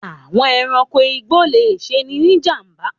Àwọn ẹranko igbó le ṣeni ní ìjàm̀ba.